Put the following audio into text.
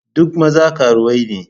Duk maza karuwai ne.